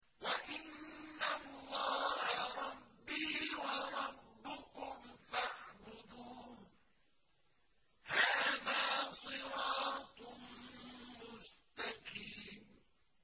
وَإِنَّ اللَّهَ رَبِّي وَرَبُّكُمْ فَاعْبُدُوهُ ۚ هَٰذَا صِرَاطٌ مُّسْتَقِيمٌ